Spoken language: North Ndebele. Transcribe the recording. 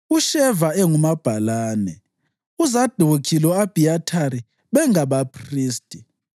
uSheva engumabhalane; uZadokhi lo-Abhiyathari bengabaphristi;